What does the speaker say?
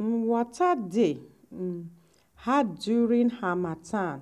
um water dey um hard during harmattan